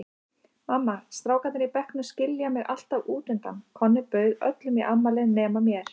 Mamma, strákarnir í bekknum skilja mig alltaf útundan, Konni bauð öllum í afmælið nema mér.